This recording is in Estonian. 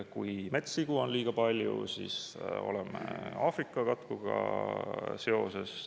Kui metssigu on liiga palju, siis oleme Aafrika katkuga.